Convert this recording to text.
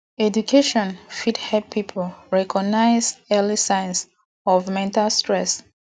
education fit help pipo recognize early signs of mental stress